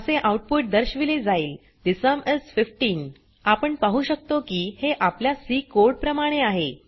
असे आउटपुट दर्शविले जाईल ठे सुम इस 15 आपण पाहु शकतो की हे आपल्या सी कोड प्रमाणे आहे